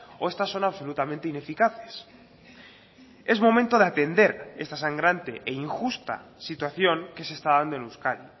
o estas son absolutamente ineficaces es momento de atender esta sangrante e injusta situación que se está dando en euskadi